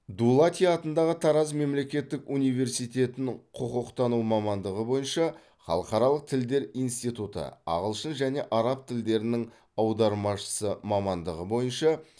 дулати атындағы тараз мемлекеттік университетін құқықтану мамандығы бойынша халықаралық тілдер институты ағылшын және араб тілдерінің аудармашысы мамандығы бойынша